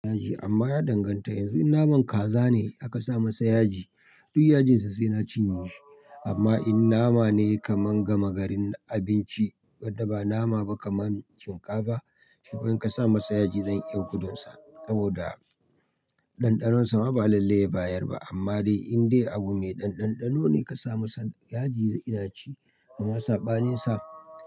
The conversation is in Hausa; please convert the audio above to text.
Yaji amma ya danganta yanzu in naman kaza ne aka sa masa yaji duk yajinsa sai na cinye shi amma in nama ne kaman gama garin abinci wanda ba nama ba kaman shinkafa shi kum in ka sa masa yaji zan iya gudunsa saboda ɗanɗanonsa ma ba lallai ya bayar ba amma dai in dai abu me ɗan ɗanɗano ne ka sa masa yaji ina ci amma sa ɓaninsa.